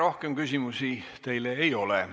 Rohkem küsimusi teile ei ole.